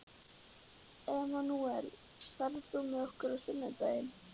Emanúel, ferð þú með okkur á sunnudaginn?